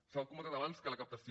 s’ha comentat abans que la captació